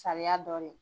Sariya dɔɔnin